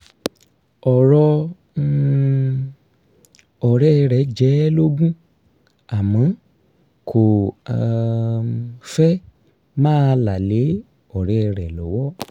ọ̀rọ̀ um ọ̀rẹ́ rẹ̀ jẹ ẹ́ lógún àmọ́ kò um fẹ́ máa là lé ọ̀rẹ́ rẹ̀ lọ́wọ́